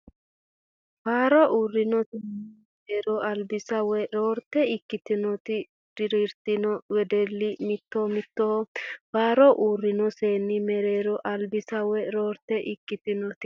Faaro uurrino seenni mereero albisa woy roorritte ikkitinoti dirantino wedellira mitto mittoho Faaro uurrino seenni mereero albisa woy roorritte ikkitinoti.